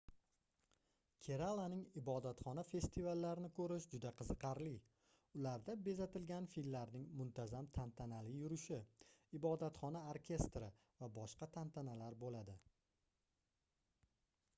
keralaning ibodatxona festivallarini koʻrish juda qiziqarli ularda bezatilgan fillarning muntazam tantanali yurishi ibodatxona orkestri va boshqa tantanalar boʻladi